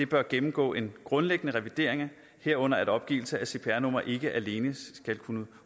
bør gennemgå en grundlæggende revidering herunder at opgivelse af cpr nummer ikke alene skal kunne